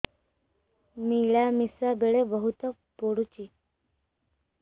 ମିଳାମିଶା ବେଳେ ବହୁତ ପୁଡୁଚି